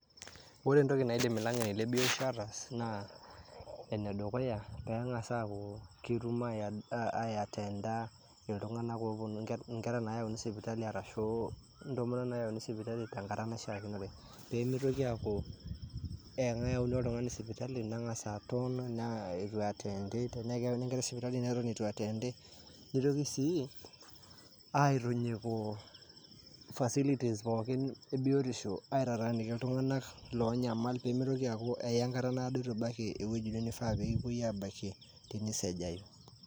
Ore entoki naidim ilang'eni lebiotisho ataas, naa enedukuya, neng'asa aku ketum aiyatenda iltung'anak oponu inkera nayauni sipitali arashu intomonok nayauni sipitali tenkata naishaakinore. Pemitoki aku, ekeuni oltung'ani sipitali, neng'asa aton naa itu iatendi, tenaa keuni enkerai sipitali, neton itu eatendi. Nitoki sii aitinyiku facilities pookin ebiotisho, aitataaniki iltung'anak lonyamal pemitoki aku aiya enkata naado itu baiki ewueji nifaa pekipoi abakie, tenisejayu.